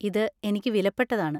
ഇത് എനിക്ക് വിലപ്പെട്ടതാണ്.